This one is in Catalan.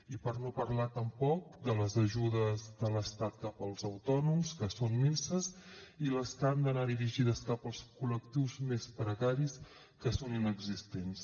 i per no parlar tampoc de les ajudes de l’estat cap als autònoms que són minses i les que han d’anar dirigides cap als col·lectius més precaris que són inexistents